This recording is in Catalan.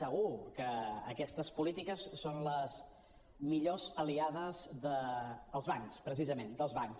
segur que aquestes polítiques són les millors aliades dels bancs precisament dels bancs